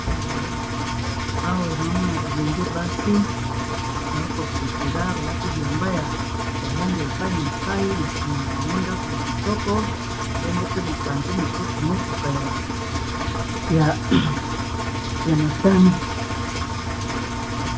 awa enoomona bilenge basi naakosepela balaki bilamba ya balangi ya epai na epai na nsima ya bango ndako ya kitoko bongo pe mopanzi mosusu motuka ya motani